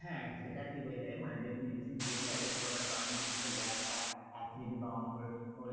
হ্যাঁ, সেটা ঠিক হয়ে যাবে মানে যেহেতু medicine দিয়েছে হয় তো ছোটোখাটো কারণ জনিত থেকে gas বা acidity বা অম্বল